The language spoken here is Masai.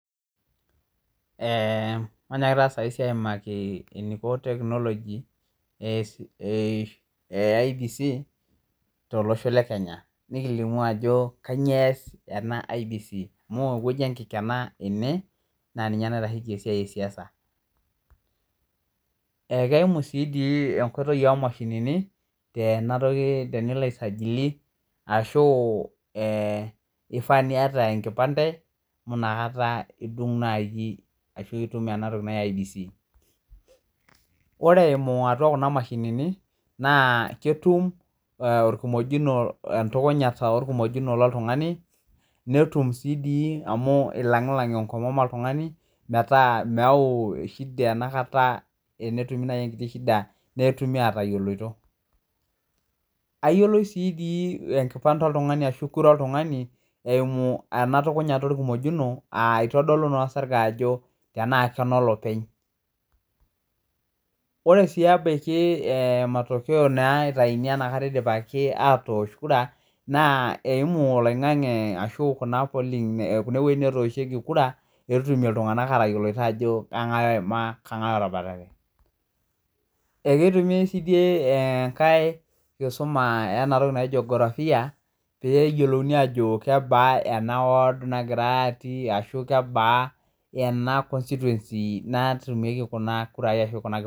Manyaakiti taa saisi aimaki eneiko teknoloji e IEBC elosho le Kenya nikilimu ajo kainyoo eyas ena IEBC, amuu eweji enkikena ene, naa ninye naitasheki esiai esiasa. Ekeimu sii dii enkoitoi emashinini, enatoki tenilo aisajili ashu eifaa nieta enkipande amu inakata itum naaji ashu itum ana toki naa e IEBC. Ore eimu atua kuna imashinini naa ketum olkimojunoo, entukunyata elkumojunoo le iltungani, netum sii dii amu eilanglang enkomom eltungani ,metaa meyau eshida anakat, tenetumi nai enkiti ishida, netumi aatayoloto. Ayiolou sii dii enkipande oltungani aashu kurra eltungani eimu anatukunyata elkumojunoo, aa eitadolu naa sirka ajo enaa kera ne olopeny, ore siii ebaki ematokea naa eitaini inatakata eidipaaki atoosh kuraa, naa eimu oloing'ang'e ashu kuna poling',kuna wejitin natoosheki kuraa, peetum ltungana atayiolo aajo enga'e oima kang'ae otabarare. Eketumi sii deii enkae nkisuma enatoki naji jiografia pee eyiolouni aajo kebaa ena wood nagirai atii, ashu kebaa ena constituency natumieki kunakurai ashu kuna kipandeni.